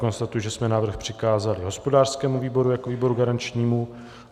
Konstatuji, že jsme návrh přikázali hospodářskému výboru jako výboru garančnímu.